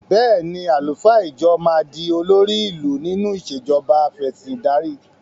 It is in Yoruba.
Bẹ́ẹ̀ ni, àlùfáà ìjọ máa di olórí ìlú nínú ìṣèjọba afẹ̀sìndarí.